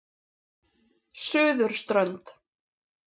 Suðurströnd